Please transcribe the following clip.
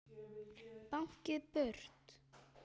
Báknið burt!